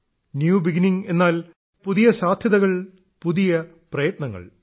new beginning എന്നാൽ പുതിയ സാധ്യതകൾ പുതിയ പ്രയത്നങ്ങൾ